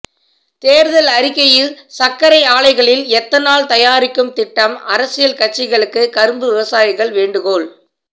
தேர்தல் அறிக்கையில் சர்க்கரை ஆலைகளில் எத்தனால் தயாரிக்கும் திட்டம் அரசியல் கட்சிகளுக்கு கரும்பு விவசாயிகள் வேண்டுகோள்